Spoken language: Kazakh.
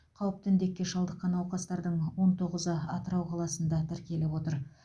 қауіпті індетке шалдыққан науқастардың он тоғызы атырау қаласында тіркеліп отыр